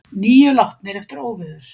Níu látnir eftir óveður